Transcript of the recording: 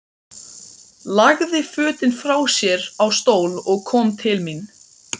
Lagði fötin frá sér á stól og kom til mín.